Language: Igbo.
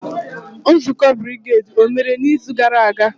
Nzukọ brigedi omere n'izu gara aga?